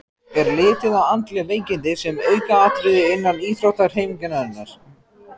Er litið á andleg veikindi sem aukaatriði innan íþróttahreyfingarinnar?